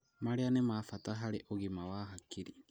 Marĩa nĩ ma bata harĩ ũgima wa hakiri.